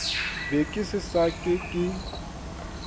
be ke sa ke ke